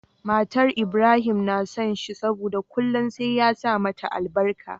Matar Ibrahim na son shi saboda kullun sai ya sa mata albarka